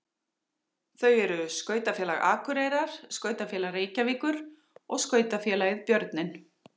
Þau eru Skautafélag Akureyrar, Skautafélag Reykjavíkur og Skautafélagið Björninn.